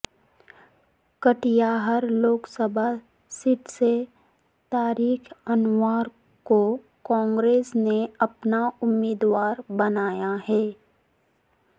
Katihar Lok Sabha seat سے طارق انور کو کانگریس نے اپنا امیدوار بنایا ہے